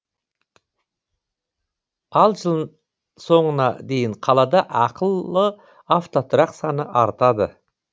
ал жыл соңына дейін қалада ақылы автотұрақ саны артады